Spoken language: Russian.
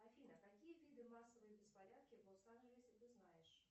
афина какие виды массовые беспорядки в лос анджелесе ты знаешь